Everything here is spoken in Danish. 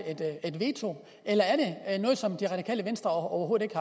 veto eller er det noget som det radikale venstre overhovedet